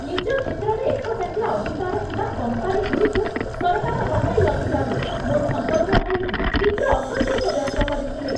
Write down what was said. ନିଜ କ୍ଷେତ୍ରରେ ଏକଚାଟିଆ ଅଧିକାର ଥିବା କମ୍ପାନୀଗୁଡ଼ିକୁ ସରକାର ହଟାଇନଥିବାରୁ ମୋ ସମ୍ପର୍କୀୟ ଭାଇ ତୀବ୍ର ଅସନ୍ତୋଷ ବ୍ୟକ୍ତ କରିଥିଲେ।